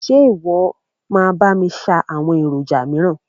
Ṣe ìwọ máa bá mi ṣáá àwọn èròjà míràn?